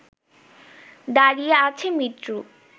দাঁড়িয়ে আছে মৃত্যু